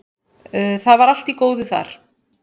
Það var allt í góðu þar.